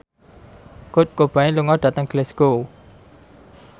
Kurt Cobain lunga dhateng Glasgow